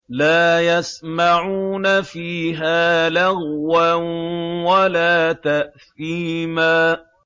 لَا يَسْمَعُونَ فِيهَا لَغْوًا وَلَا تَأْثِيمًا